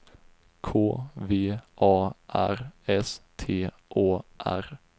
K V A R S T Å R